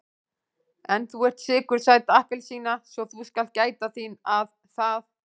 En þú ert sykursæt appelsína svo þú skalt gæta þín að það.